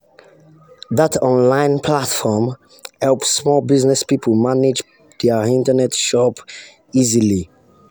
that online platform help small business people manage their internet shop easily.